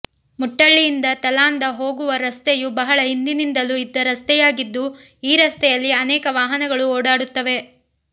ಮುಟ್ಟಳ್ಳಿಯಿಂದ ತಲಾಂದ ಹೋಗುವ ರಸ್ತೆಯು ಬಹಳ ಹಿಂದಿನಿಂದಲೂ ಇದ್ದ ರಸ್ತೆಯಾಗಿದ್ದು ಈ ರಸ್ತೆಯಲ್ಲಿ ಅನೇಕ ವಾಹನಗಳು ಓಡಾಡುತ್ತವೆ